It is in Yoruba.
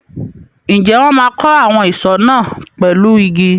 Ǹjẹ́ wọn máa kọ́ àwọn ìsọ̀ náà pẹ̀lú igi?